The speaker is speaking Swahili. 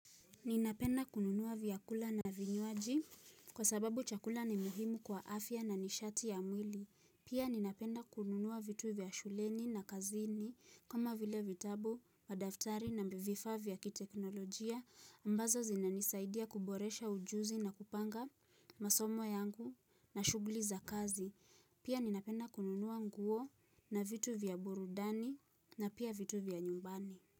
Ninapenda kununua vyakula na vinywaji kwa sababu chakula ni muhimu kwa afya na nishati ya mwili. Pia ninapenda kununua vitu vya shuleni na kazini kama vile vitabu, madaftari na vifaa vya kiteknolojia ambazo zinanisaidia kuboresha ujuzi na kupanga masomo yangu na shughuli za kazi. Pia, ninapenda kununua nguo na vitu vya burudani na pia vitu vya nyumbani.